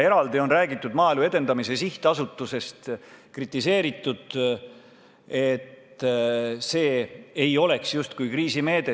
Eraldi on räägitud Maaelu Edendamise Sihtasutusest, kritiseeritud, et see ei ole justkui kriisimeede.